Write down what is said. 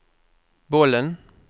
bollen